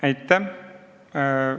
Aitäh!